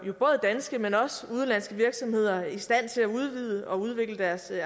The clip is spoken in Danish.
danske men også udenlandske virksomheder i stand til at udvide og udvikle deres